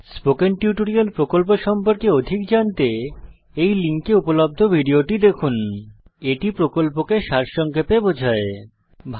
spoken tutorial প্রকল্প সম্পর্কে অধিক জানতে এই লিঙ্কে উপলব্ধ ভিডিওটি দেখুন spoken tutorialorgভাট আইএস a spoken টিউটোরিয়াল এটি প্রকল্পকে সারসংক্ষেপে বোঝায়